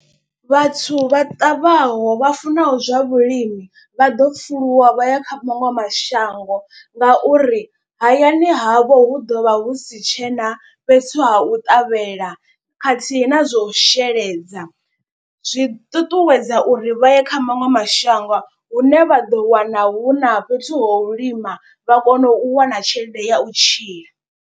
Vhathu vha ṱavhaho vha funaho zwa vhulimi vha ḓo pfuluwa vha ya kha maṅwe mashango. Ngauri hayani havho hu ḓo vha hu si tshena fhethu ha u ṱavhela khathihi na zwo sheledza. Zwi ṱuṱuwedza uri vha ye kha maṅwe mashango hune vha ḓo wana hu na fhethu ho u lima vha kone u wana tshelede ya u tshila.